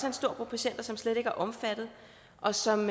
en stor gruppe patienter som slet ikke er omfattet og som